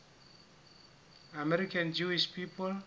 american jewish people